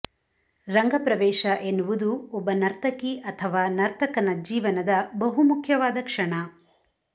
ರಂಗ ಪ್ರವೇಶ ಎನ್ನುವುದು ಒಬ್ಬ ನರ್ತಕಿ ಅಥವಾ ನರ್ತಕನ ಜೀವನದ ಬಹುಮುಖ್ಯವಾದ ಕ್ಷಣ